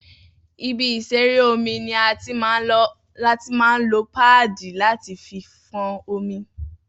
Ibi ìṣeré omi ní a tí máa ń lo páàdì láti fí fọ́n omi